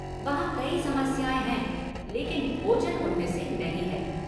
वहाँ कई समस्याएँ हैं लेकिन भोजन उनमें से नहीं है!